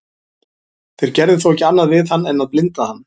þeir gerðu þó ekki annað við hann en að blinda hann